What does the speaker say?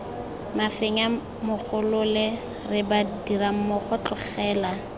mafenya mogolole re badirammogo tlogela